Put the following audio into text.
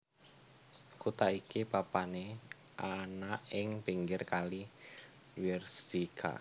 Kutha iki papané ana ing pinggir kali Wierzyca